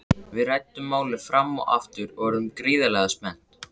Við ræddum málið fram og aftur og urðum gríðarlega spennt.